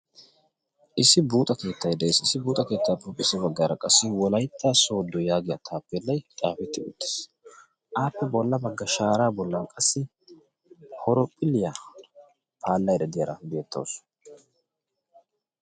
issi buuxa keettay da'iya issi issi buuxa keettaa piropphissi baggaara qassi wolaytta soodo yaagiya taappeellay xaafitti uttiis aappi bolla bagga shaaraa bollan qassi horophiliyaa paallay daddiyaara beettaasu